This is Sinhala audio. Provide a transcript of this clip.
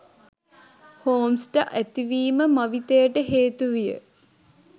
හෝම්ස්ට ඇතිවීම මවිතයට හේතුවිය